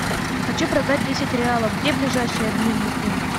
хочу продать десять реалов где ближайший обменный пункт